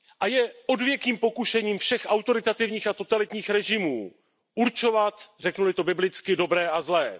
Je odvěkým pokušením všech autoritativních a totalitních režimů určovat, řeknu li to biblicky, dobré a zlé.